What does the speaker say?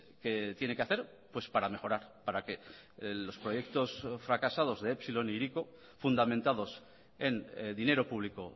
que tiene que hacer para mejorar para que los proyectos fracasados de epsilon e hiriko fundamentados en dinero público